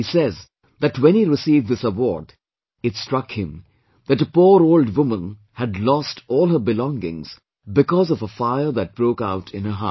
He says that when he received this reward, it struck him that a poor old woman had lost all her belongings because of a fire that broke out in her house